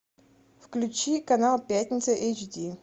включи канал пятница эйч ди